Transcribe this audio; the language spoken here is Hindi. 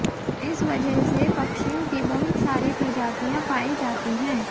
इस वजह से पक्षियों की बहुत सारी प्रजातियां पाई जाती हैं